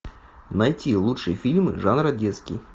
найти лучшие фильмы жанра детский